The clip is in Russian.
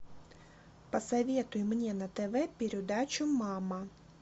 посоветуй мне на тв передачу мама